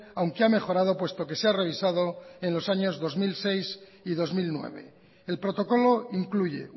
aunque ha mejorado puesto que se ha revisado en los años dos mil seis y dos mil nueve el protocolo incluye